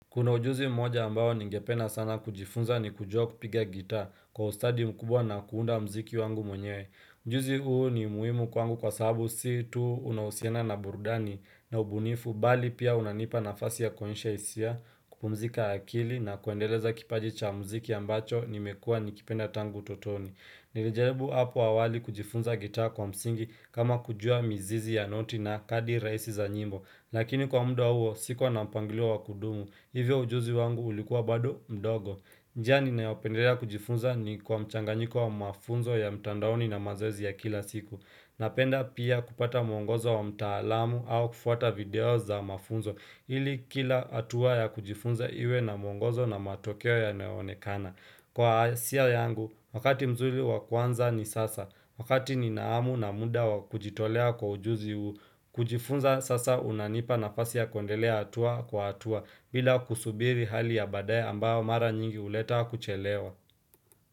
Kuna ujuzi mmoja ambao ningependa sana kujifunza ni kujua kupiga gitaa kwa ustadi mkubwa na kuunda mziki wangu mwenyewe. Ujuzi huu ni muhimu kwangu kwa sababu si tu unahusiana na burudani na ubunifu bali pia unanipa nafasi ya kuonyesha isia, kupumzika akili na kuendeleza kipaji cha mziki ambacho nimekua nikipenda tangu utotoni. Nilijaribu hapo awali kujifunza gitaa kwa msingi kama kujua mizizi ya noti na kadi raisi za nyimbo. Lakini kwa mda huo sikuwa na mpangilio wa kudumu, hivyo ujuzi wangu ulikuwa bado mdogo njia ninayopenderea kujifunza ni kwa mchanganyiko wa mafunzo ya mtandaoni na mazoezi ya kila siku Napenda pia kupata mwongozo wa mtaalamu au kufuata video za mafunzo ili kila atua ya kujifunza iwe na mwongozo na matokeo yanayoonekana Kwa asia yangu, wakati mzuri wa kuanza ni sasa Wakati ninahamu na muda wa kujitolea kwa ujuzi uu kujifunza sasa unanipa nafasi ya kwendelea atua kwa atua bila kusubiri hali ya baadae ambao mara nyingi uleta kuchelewa.